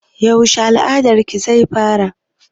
Yaushe al'adar ki zai fara?